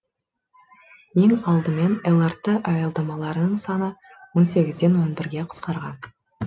ең алдымен лрт аялдамаларының саны он сегізден он бірге қысқарған